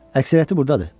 Əksəriyyəti burdadır.